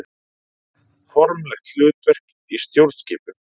Formlegt hlutverk í stjórnskipun.